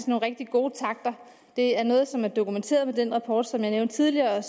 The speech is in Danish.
nogle rigtig gode takter det er noget som er dokumenteret ved den rapport som jeg nævnte tidligere og